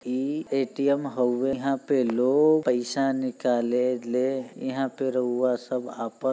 इ ए.टी.एम. हउवे यहाँ पर लोग पैसा निकलेले। यहाँ पर रउवा सब आपन --